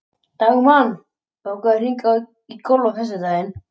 Dagmann, bókaðu hring í golf á föstudaginn.